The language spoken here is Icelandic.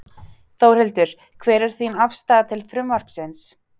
Þórhildur: Hver er þín afstaða til frumvarpsins?